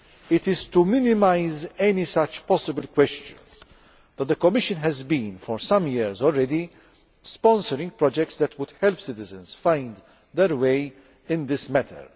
It is to minimise any such possible questions that the Commission has for some years been sponsoring projects that would help citizens to find their way in this matter.